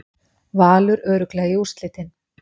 Valur örugglega í úrslitin